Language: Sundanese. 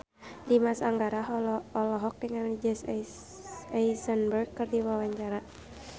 Dimas Anggara olohok ningali Jesse Eisenberg keur diwawancara